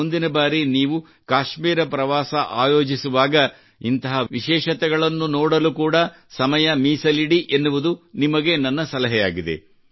ಮುಂದಿನ ಬಾರಿ ನೀವು ಕಾಶ್ಮೀರ ಪ್ರವಾಸ ಯೋಜಿಸುವಾಗ ಇಂತಹ ವಿಶೇಷತೆಗಳನ್ನು ನೋಡಲು ಕೂಡಾ ಸಮಯ ಮೀಸಲಿಡಿ ಎನ್ನುವುದು ನಿಮಗೆ ನನ್ನ ಸಲಹೆಯಾಗಿದೆ